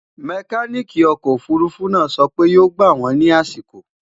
mecanic ọkọ òfurufú náà so pé yó gbà wón ní àsìkò